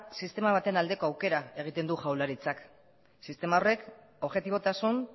sistema baten aldeko aukera egiten du jaurlaritzak sistema horrek objetibotasun